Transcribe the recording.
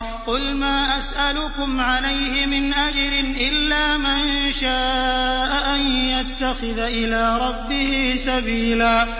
قُلْ مَا أَسْأَلُكُمْ عَلَيْهِ مِنْ أَجْرٍ إِلَّا مَن شَاءَ أَن يَتَّخِذَ إِلَىٰ رَبِّهِ سَبِيلًا